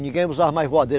Ninguém usava mais voadeira.